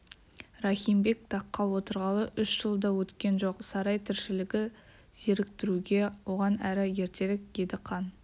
рахимбек таққа отырғалы үш жыл да өткен жоқ сарай тіршілігі зеріктіруге оған әрі ертерек еді қан